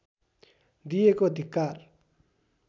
दिएको धिक्कार